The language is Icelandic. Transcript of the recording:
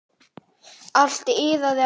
Allt iðaði af lífi.